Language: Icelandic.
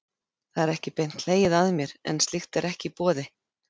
Það er ekki beint hlegið að mér, en slíkt er ekki í boði.